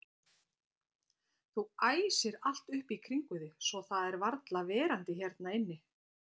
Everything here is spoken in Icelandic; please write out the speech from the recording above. Þú æsir allt upp í kringum þig svo það er varla verandi hérna inni.